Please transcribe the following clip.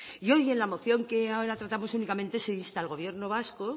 y hoy en la moción que ahora tratamos únicamente se insta al gobierno vasco